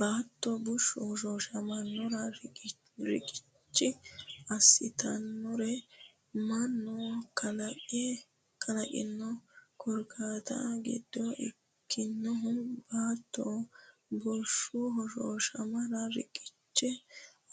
Baatto bushshu hoshooshamara reqecci assitannori mannu kalaqino korkaatta giddo ikkinohu Baatto bushshu hoshooshamara reqecci